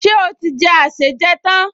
Ṣé ó ti jẹ àsèjẹ tán?